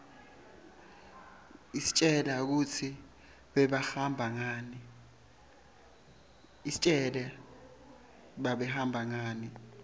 istjela kutsi bebahamba ngani